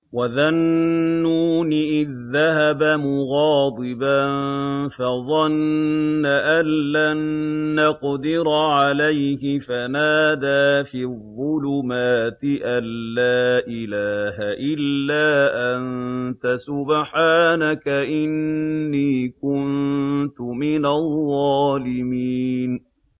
وَذَا النُّونِ إِذ ذَّهَبَ مُغَاضِبًا فَظَنَّ أَن لَّن نَّقْدِرَ عَلَيْهِ فَنَادَىٰ فِي الظُّلُمَاتِ أَن لَّا إِلَٰهَ إِلَّا أَنتَ سُبْحَانَكَ إِنِّي كُنتُ مِنَ الظَّالِمِينَ